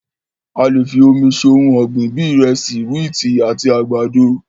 A lè fi omi se ohun ọgbin bíi ìrẹsì, wíìtì àti àgbàdo.